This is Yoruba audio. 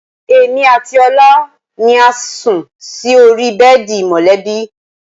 Èmi àti Ọlá ni a sí orí bẹ́ẹ̀dì mọ̀lẹ́bí